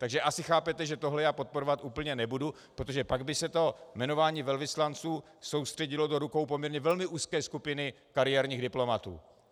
Takže asi chápete, že tohle já podporovat úplně nebudu, protože pak by se to jmenování velvyslanců soustředilo do rukou poměrně velmi úzké skupiny kariérních diplomatů.